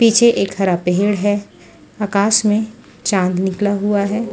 पीछे एक हरा पेड़ है आकाश में चांद निकला हुआ है।